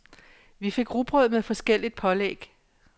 Vi fik rugbrød med forskelligt pålæg.